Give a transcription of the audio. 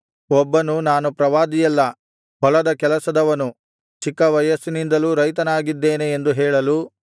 ಒಬ್ಬನು ನಾನು ಪ್ರವಾದಿಯಲ್ಲ ಹೊಲದ ಕೆಲಸದವನು ಚಿಕ್ಕ ವಯಸ್ಸಿನಿಂದಲೂ ರೈತನಾಗಿದ್ದೇನೆ ಎಂದು ಹೇಳಲು